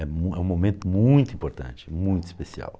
É mu é um momento muito importante, muito especial.